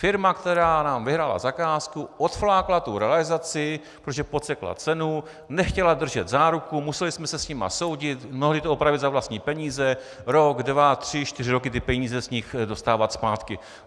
Firma, která nám vyhrála zakázku, odflákla tu realizaci, protože podsekla cenu, nechtěla držet záruku, museli jsme se s nimi soudit, mnohdy to opravit za vlastní peníze, rok, dva, tři, čtyři roky ty peníze z nich dostávat zpátky.